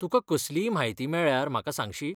तुका कसलीय म्हायती मेळ्ळ्यार म्हाका सांगशी ?